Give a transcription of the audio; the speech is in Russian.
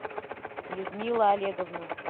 людмила олеговна